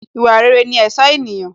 Ìwà rere ní ẹ̀ṣọ́ ènìyàn